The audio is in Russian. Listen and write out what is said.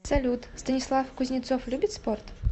салют станислав кузнецов любит спорт